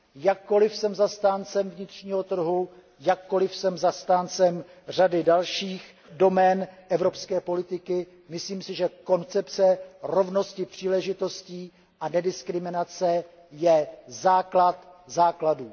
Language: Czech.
Jakkoliv jsem zastáncem vnitřního trhu, jakkoliv jsem zastáncem řady dalších domén evropské politiky, myslím si, že koncepce rovnosti příležitostí a nediskriminace je základ základů.